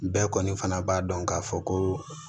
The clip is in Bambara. Bɛɛ kɔni fana b'a dɔn k'a fɔ ko